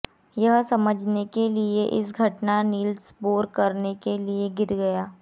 यह समझने के लिए इस घटना नील्स बोर करने के लिए गिर गया